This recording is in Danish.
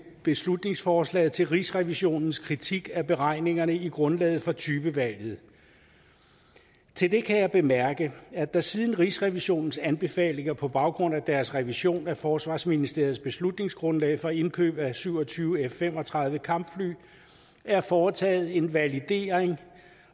beslutningsforslaget til rigsrevisionens kritik af beregningerne i grundlaget for typevalget til det kan jeg bemærke at der siden rigsrevisionens anbefalinger på baggrund af deres revision af forsvarsministeriets beslutningsgrundlag for indkøb af syv og tyve f fem og tredive kampfly er foretaget en validering